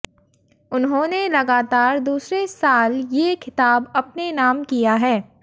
उन्होंने लगातार दूसरे साल ये खिताब अपने नाम किया है